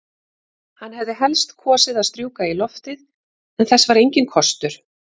Hann hefði helst kosið að strjúka í loftið, en þess var enginn kostur.